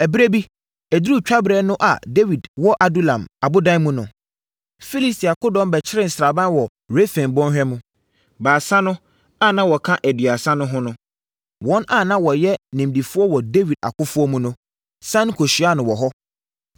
Ɛberɛ bi, ɛduruu twaberɛ no a Dawid wɔ Adulam ɔbodan mu no, Filistia akodɔm bɛkyeree sraban wɔ Refaim bɔnhwa mu. Baasa no (a na wɔka Aduasa no ho no, wɔn a na wɔyɛ nimdefoɔ wɔ Dawid akofoɔ mu no) siane kɔhyiaa no wɔ hɔ.